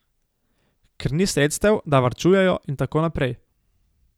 Ker ni sredstev, da varčujejo in tako naprej.